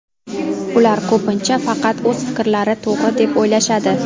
Ular ko‘pincha faqat o‘z fikrlari to‘g‘ri deb o‘ylashadi.